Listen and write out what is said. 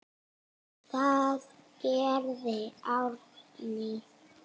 Það gerði Árný.